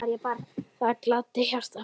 Það gladdi hjartað mitt.